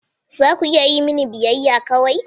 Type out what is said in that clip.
Za ku iya yi mini biyayya kawai?